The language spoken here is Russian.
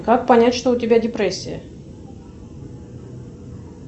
как понять что у тебя депрессия